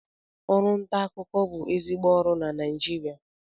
Ọrụ nta akụkọ bụ ezigbo ọrụ na Naịjirịa